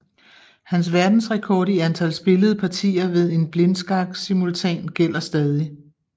Hans verdensrekord i antal spillede partier ved en blindskaksimultan gælder stadig